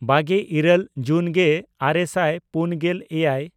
ᱵᱟᱜᱮᱼᱤᱨᱟᱹᱞ ᱡᱩᱱᱜᱮᱼᱟᱨᱮ ᱥᱟᱭ ᱯᱩᱱᱜᱮᱞ ᱮᱭᱟᱭ